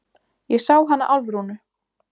Ég sá hana Álfrúnu.